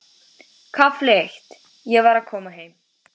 KAFLI EITT Ég var að koma heim.